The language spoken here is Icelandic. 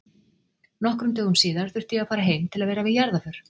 Nokkrum dögum síðar þurfti ég að fara heim til að vera við jarðarför.